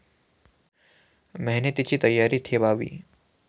मेहनतीची तयारी ठेवावी.